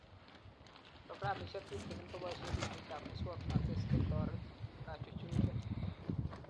Programishe tutikin koboishe simoitab muswonotet sikotoret kachuchuchet